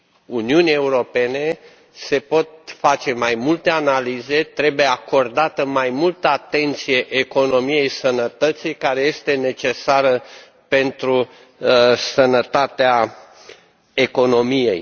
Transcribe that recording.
Uniunii Europene, se pot face mai multe analize, trebuie acordată mai multă atenție economiei sănătății, care este necesară pentru sănătatea economiei.